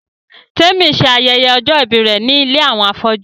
Témi ṣe ayẹyẹ ọjọ́-ìbí rẹ̀ ní ilé àwọn afọ́jú